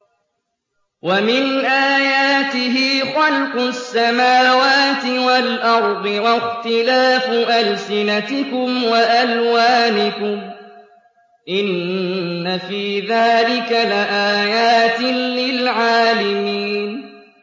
وَمِنْ آيَاتِهِ خَلْقُ السَّمَاوَاتِ وَالْأَرْضِ وَاخْتِلَافُ أَلْسِنَتِكُمْ وَأَلْوَانِكُمْ ۚ إِنَّ فِي ذَٰلِكَ لَآيَاتٍ لِّلْعَالِمِينَ